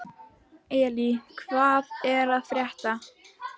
Elly, hvað er að frétta?